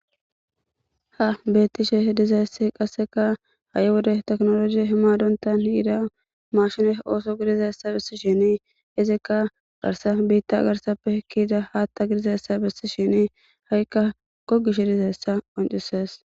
Ha betishe dizaysi qaseka ha'i wode ehida tekinoloje madontan yida machine oso gidiyaysa besishen garsan bita garsape ke'za hatha gidizaysa besishen hayka gogishe dizaysa qonc'ses.